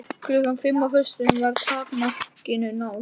Loksins var hlaupinn kraftur í starf Þýska nasistaflokksins á Íslandi.